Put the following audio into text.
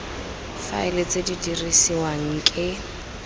faela tse di dirisiwang ke